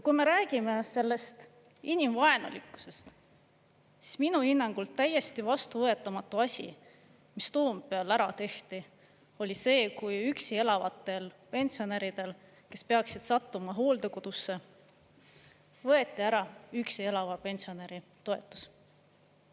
Kui me räägime sellest inimvaenulikkusest, siis minu hinnangul täiesti vastuvõetamatu asi, mis Toompeal ära tehti, oli see, kui üksi elavatel pensionäridel, kes peaksid sattuma hooldekodusse, võeti ära üksi elava pensionäri toetus.